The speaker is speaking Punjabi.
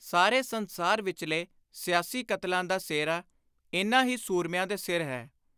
ਸਾਰੇ ਸੰਸਾਰ ਵਿਚਲੇ ਸਿਆਸੀ ਕਤਲਾਂ ਦਾ ਸਿਹਰਾ ਇਨ੍ਹਾਂ ਹੀ ਸੁਰਮਿਆਂ ਦੇ ਸਿਰ ਹੈ।